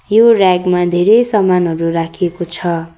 यो रेग मा धेरै सामानहरू राखिएको छ।